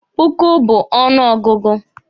Puku bu ọnụ ọgụgụ.